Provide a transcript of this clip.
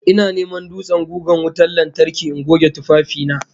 Ina ta neman dutsen gugan wutan lantarki in goge tufafi na